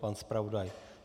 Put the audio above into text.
Pan zpravodaj?